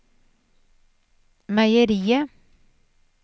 meieriet